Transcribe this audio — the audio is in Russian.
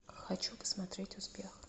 хочу посмотреть успех